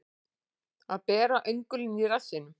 Að bera öngulinn í rassinum